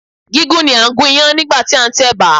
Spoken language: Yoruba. Gígún ni à ń gún Iyán nígbàtí a ń tẹ̀bà